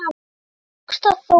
Honum tókst það þó ekki.